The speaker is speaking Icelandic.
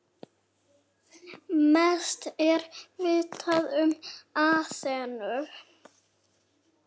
Mest er vitað um Aþenu.